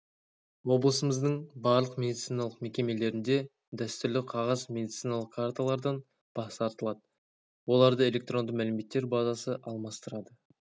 облысымыздың барлық медициналық мекемелерінде дәстүрлі қағаз медициналық карталардан бас тартылады оларды электронды мәліметтер базасы алмастырады